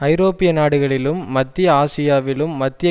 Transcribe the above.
ஐரோப்பிய நாடுகளிலும் மத்திய ஆசியாவிலும் மத்திய